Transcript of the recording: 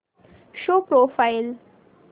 show profile